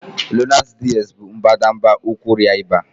Lonart DS bụ mbadamba ụkwara ịba